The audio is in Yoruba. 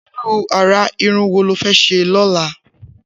Irù àrà irùn wó ló fè ṣé lọ̀lá?